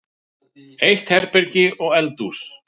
Eitt herbergi og eldhús.